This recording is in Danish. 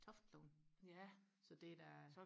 Toftlund så det er da